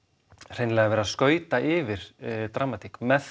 hreinlega verið að skauta yfir dramatík með